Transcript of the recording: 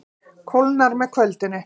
Kólnar með kvöldinu